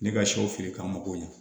Ne ka sɛw feere ka mago ɲɛ